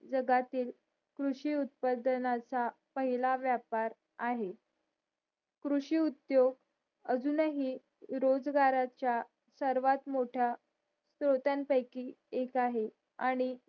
जगातील कृषी उत्पादनाचा पहिला व्यापार आहे कृषी उद्योग अजून हि रोजगाराचा सर्वात मोठा स्रोतांन पैकी एक आहे आणि